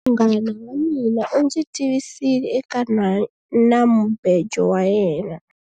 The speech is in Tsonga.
Munghana wa mina u ndzi tivisile eka nhwanamubejo wa yena.